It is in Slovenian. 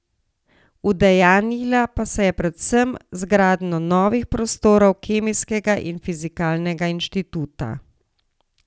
Udejanjila pa se je predvsem z gradnjo novih prostorov Kemijskega in Fizikalnega inštituta.